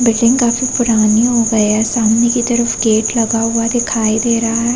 Building काफी पुरानी हो गया है सामने की तरफ गेट लगा हुआ दिखाई दे रहा है।